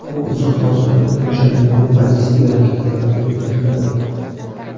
U uzoq masofaga mo‘ljallangan ballistik raketalarga o‘rnatiladi.